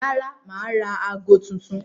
Rárá, mà á ra aago tuntun.